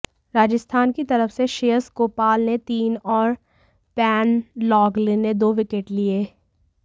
राजस्थान की तरफ से श्रेयस गोपाल ने तीन और बेन लॉघलिन ने दो विकेट लिए